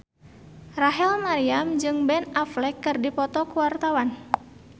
Rachel Maryam jeung Ben Affleck keur dipoto ku wartawan